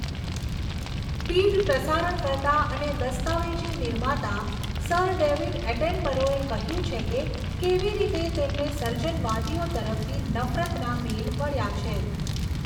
પીઢ પ્રસારણકર્તા અને દસ્તાવેજી નિર્માતા સર ડેવિડ એટનબરોએ કહ્યું છે કે કેવી રીતે તેમને સર્જનવાદીઓ તરફથી નફરતના મેલ મળ્યા છે.